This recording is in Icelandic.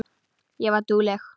Ég var dugleg.